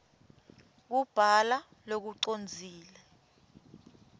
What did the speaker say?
kubhala lokucondzile